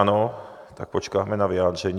Ano, tak počkáme na vyjádření.